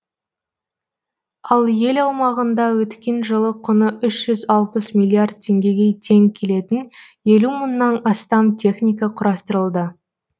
ал ел аумағында өткен жылы құны үш жүз алпыс миллиард теңгеге тең келетін елу мыңнан астам техника құрастырылды